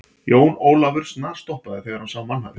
Jón Ólafur snarstoppaði þegar hann sá mannhafið.